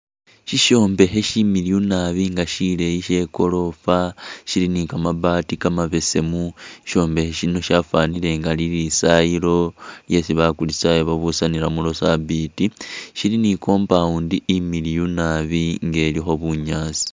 Syisyombekhe syileeyi nabi nga syimiliyu sye i'gorofa, syili ni kamabati kamabesemu. Syisyombekhe syino syafwanile nga lilisayilo lyesi bakuristayo babusanilamu lwa sabiiti. Sili ni i'compound imiliyu nabi nga ilikho bunyaasi.